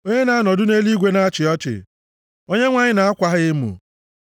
Onye na-anọdụ nʼeluigwe na-achị ọchị. Onyenwe anyị na-akwa ha emo.